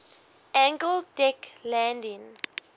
angled deck landing